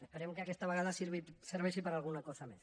esperem que aquesta vegada serveixi per a alguna cosa més